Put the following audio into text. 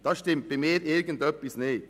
Da stimmt für mich irgendetwas nicht.